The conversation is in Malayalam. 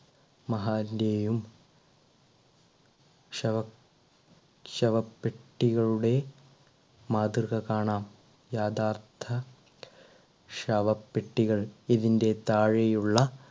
മഹാന്റെയും ശവ ശവപ്പെട്ടികളുടെ മാതൃക കാണാം യാഥാർത്ഥ ശവപ്പെട്ടികൾ ഇതിൻറെ താഴെയുള്ള,